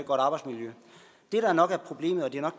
godt arbejdsmiljø det der nok er problemet og det er nok